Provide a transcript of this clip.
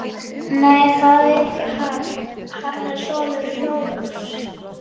Nei, það er ekki hann, það er sonur Hrólfs.